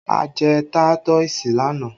A jẹ táítọ̀sì lánàá